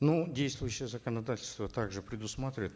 ну действующее законодательство также предусматривает